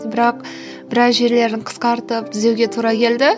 бірақ біраз жерлерін қысқартып түзеуге тура келді